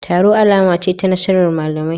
Taro alama ce ta nasarar malamai